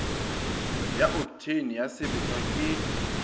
ya oktheine ya sebešwa ke